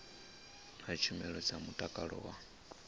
na tshumelo dza mutakalo wa